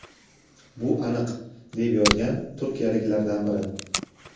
Bu aniq, deb yozgan turkiyaliklardan biri.